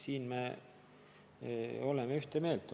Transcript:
Siin me oleme ühte meelt.